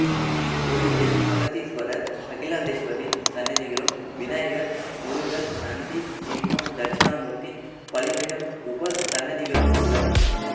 இக்கோயிலில் அகத்தீஸ்வரர் அகிலாண்டேஸ்வரி சன்னதிகளும் விநாயகர் முருகன் நந்தி சிம்மம் தட்சிணாமூர்த்தி பலிபீடம் உபசன்னதிகளும் உள்ளன